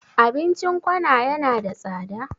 Abincin kona yana da tsada?